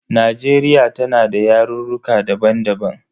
Najeriya tana da yarurruka daban daban.